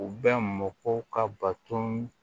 U bɛ mɔkɔw ka baton